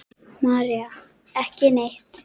María: Ekki neitt.